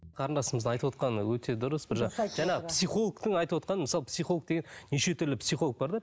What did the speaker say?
қарындасымыздың айтып отырғаны өте дұрыс бір жаңағы психологтың айтып отырғаны мысалы психолог деген неше түрлі психолог бар да